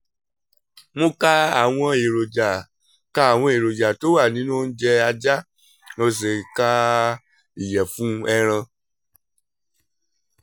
mo ka àwọn èròjà ka àwọn èròjà tó wà nínú oúnjẹ ajá mo sì ka ìyẹ̀fun ẹran